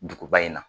Duguba in na